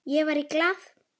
Ég var í Glað.